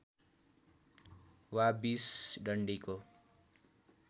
वा २० डन्डीको